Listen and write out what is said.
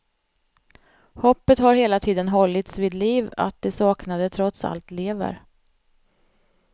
Hoppet har hela tiden hållits vid liv att de saknade trots allt lever.